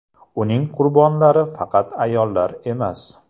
Uning qurbonlari faqat ayollar emas.